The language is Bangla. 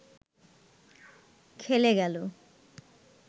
খেলে গেল